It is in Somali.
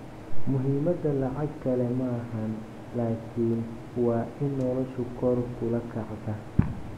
Muhimadha lacag kale maaxan lakin waa in noloshu kor kuula kactaaa.